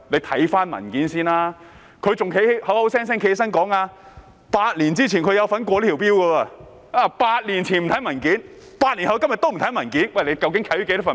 他還口口聲聲說，他8年前有參與通過這項法例 ，8 年前不看文件 ，8 年後的今天也不看文件。